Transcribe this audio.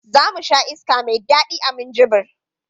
Za mu sha iska mai daɗi a Minjibir.